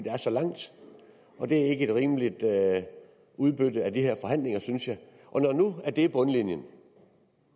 er så langt og det er ikke et rimeligt udbytte af de her forhandlinger synes jeg når nu det er bundlinjen